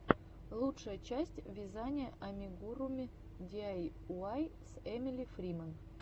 лучшая часть вязания амигуруми диайуай с эмили фриман